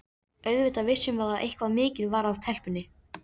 Auðvitað vissum við að eitthvað mikið var að telpunni.